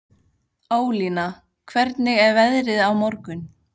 Ólína, hvernig er veðrið á morgun?